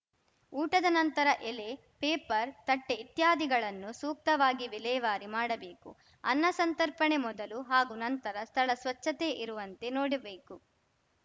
ಊಟದ ನಂತರ ಎಲೆ ಪೇಪರ್‌ ತಟ್ಟೆಇತ್ಯಾದಿಗಳನ್ನು ಸೂಕ್ತವಾಗಿ ವಿಲೇವಾರಿ ಮಾಡಬೇಕು ಅನ್ನ ಸಂತರ್ಪಣೆ ಮೊದಲು ಹಾಗೂ ನಂತರ ಸ್ಥಳ ಸ್ವಚ್ಛತೆ ಇರುವಂತೆ ನೋಡಬೇಕು